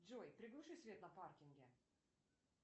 джой приглуши свет на паркинге